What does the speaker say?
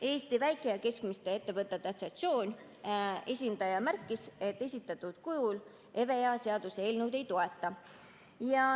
Eesti Väike‑ ja Keskmiste Ettevõtjate Assotsiatsiooni esindaja märkis, et esitatud kujul EVEA seaduseelnõu ei toeta.